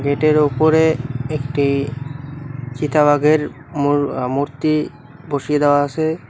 এটির ওপরে একটি চিতা বাঘের মূর-আ-মূর্তি বসিয়ে দেওয়া আসে।